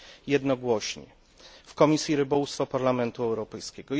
jednogłośnie w Komisji Rybołówstwa Parlamentu Europejskiego.